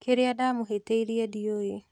Kĩrĩa ndamũhĩtĩirie ndiũĩ